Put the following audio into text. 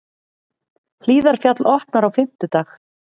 Hlíðarfjall opnar á fimmtudag